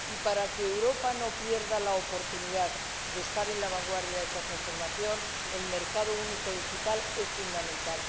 Y para que Europa no pierda la oportunidad de estar en la vanguardia de esa transformación, el mercado único digital es fundamental.